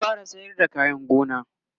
zan fara sayar da kayan gona